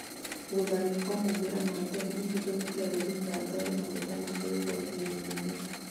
Gũthario kwa maumĩrĩra ma tene gũtũmĩte Odinga atware mateta make igoti inene